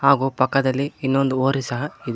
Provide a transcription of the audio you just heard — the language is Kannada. ಹಾಗು ಪಕ್ಕದಲ್ಲಿ ಇನ್ನೊಂದು ಹೋರಿ ಸಹ ಇದೆ.